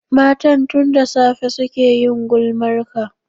Matan tun da safe suke yin gulmarka